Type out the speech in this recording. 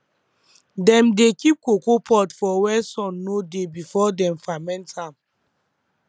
dem dey keep cocoa pod for where sun no dey before dem ferment am